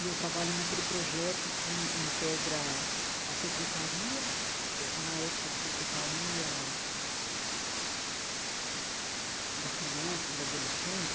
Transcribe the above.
E eu trabalho naquele projeto que integra a secretaria – eh na época era a Secretaria da Criança e do Adolescente,